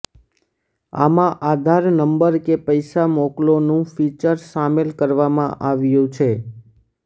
આમાં આધાર નંબરને પૈસા મોકલોનું ફિચર સામેલ કરવામાં આવ્યું છે